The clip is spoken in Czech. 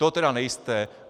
To tedy nejste.